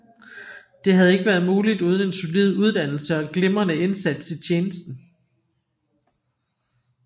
Det havde ikke været muligt uden en solid uddannelse og glimrende indsats i tjenesten